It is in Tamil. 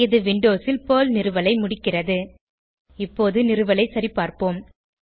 இது விண்டோஸில் பெர்ல் நிறுவலை முடிக்கிறது இப்போது நிறுவலை சரிபார்ப்போம்